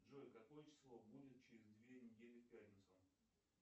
джой какое число будет через две недели в пятницу